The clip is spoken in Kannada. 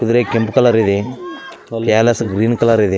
ಕುದರೆ ಕೆಂಪು ಕಲರ್‌ ಇದೆ ಕ್ಯಾಲಸ ಗ್ರೀನ್‌ ಕಲರ್‌ ಇದೆ.